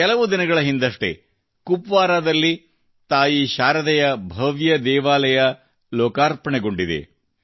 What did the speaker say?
ಕೆಲವು ದಿನಗಳ ಹಿಂದಷ್ಟೇ ಕುಪ್ವಾರಾದಲ್ಲಿ ತಾಯಿ ಶಾರದೆಯ ಭವ್ಯ ದೇವಾಲಯ ಲೋಕಾರ್ಪಣೆಗೊಂಡಿದೆ